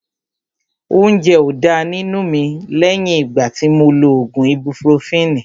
Óúnjẹ ó dá nínú mi lẹ́yìn ìgbà tí mo lo ògùn ibupurofini